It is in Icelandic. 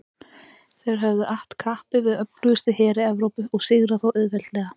Þeir höfðu att kappi við öflugustu heri Evrópu og sigrað þá auðveldlega.